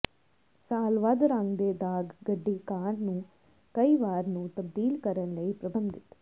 ਸਾਲ ਵੱਧ ਰੰਗ ਦੇ ਦਾਗ ਗੱਡੀ ਕਾਰ ਨੂੰ ਕਈ ਵਾਰ ਨੂੰ ਤਬਦੀਲ ਕਰਨ ਲਈ ਪਰਬੰਧਿਤ